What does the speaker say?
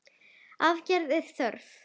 Aðgerða er þörf.